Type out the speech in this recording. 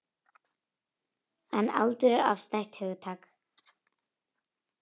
En aldur er afstætt hugtak.